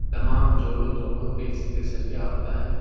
तमाम जोड़ों-जोड़ों पर इसके सरिया होता है।